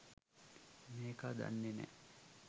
මේකා දන්නේ නැ